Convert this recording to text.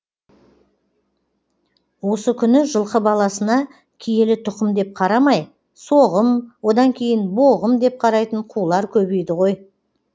осы күні жылқы баласына киелі тұқым деп қарамай соғым одан кейін боғым деп қарайтын қулар көбейді ғой